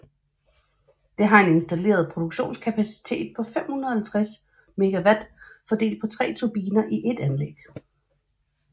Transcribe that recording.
Det har en installeret produktionskapacitet på 506 MW fordelt på 3 turbiner i ét anlæg